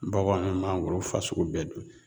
Baganw me mangoro fasugu bɛɛ dun